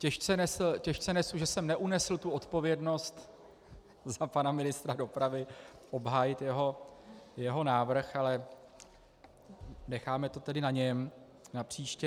Těžce nesu, že jsem neunesl tu odpovědnost za pana ministra dopravy obhájit jeho návrh, ale necháme to tedy na něm na příště.